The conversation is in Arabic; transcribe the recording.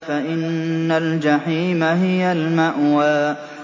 فَإِنَّ الْجَحِيمَ هِيَ الْمَأْوَىٰ